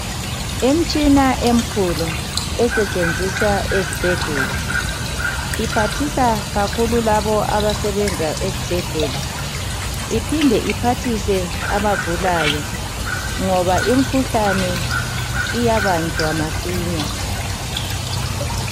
Imtshina emkhulu esetshenziswa ezibhedlela iphathisa kakhulu labo abasebenza ezibhedlela iphinde iphathise abagulayo ngoba imkhuhlane iyabanjwa masinya.